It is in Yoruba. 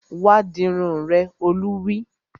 Wá dirun rẹ! Olú wí